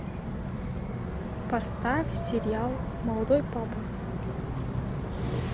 поставь сериал молодой папа